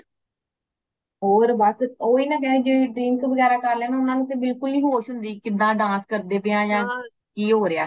ਹੋਰ ਬਸ ਓਹਿਨਾ ਜੇੜੇ drink ਵਗੈਰਾ ਕਰ ਲੇਨ ਓਨਾ ਨੂੰ ਤੇ ਬਿਲਕੁਲ ਵੀ ਨਹੀਂ ਹੋਸ਼ ਹੋਂਦੀ ਕਿਦਾਂ dance ਕਰਦੇ ਪਏ ਹਾਂ ਯਾ ਕੀ ਹੋਰਆਂ